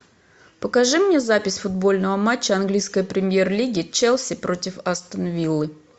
покажи мне запись футбольного матча английской премьер лиги челси против астон виллы